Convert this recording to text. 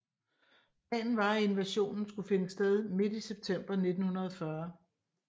Planen var at invasionen skulle finde sted midt i september 1940